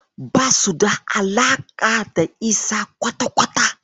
Basu da alaƙa da Isa kwata-kwata.